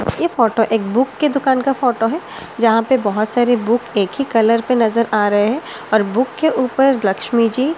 ये फोटो एक बुक के दुकान का फोटो है जहां पे बहुत सारे बुक एक ही कलर पे नजर आ रहे हैं और बुक के ऊपर लक्ष्मी जी--